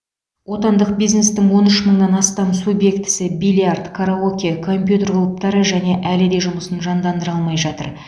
отандық бизнестің он үш мыңнан астам субъектісі бильярд караоке компьютер клубтары және әлі де жұмысын жандандыра алмай жатыр